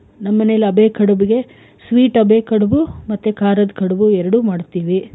ನಮ್ ಮನೇಲಿ ಅದೇ ಕಡುಬಿಗೆ sweet ಅದೇ ಕಡುಬು ಮತ್ತೆ ಖಾರದ್ ಕಡುಬು ಎರಡು ಮಾಡ್ತೀವಿ.